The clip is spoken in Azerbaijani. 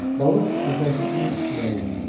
Balıq əvvəlki kimi irəli üzür.